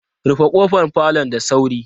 Rufe kofar falon da sauri!